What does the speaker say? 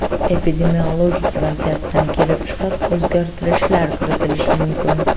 Epidemiologik vaziyatdan kelib chiqib o‘zgartirishlar kiritilishi mumkin.